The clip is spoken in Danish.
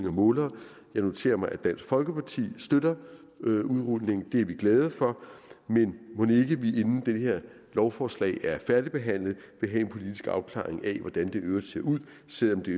af målere jeg noterer mig at dansk folkeparti støtter udrulningen og det er vi glade for men mon ikke vi inden det her lovforslag er færdigbehandlet vil have en politisk afklaring af hvordan det i øvrigt ser ud selv om det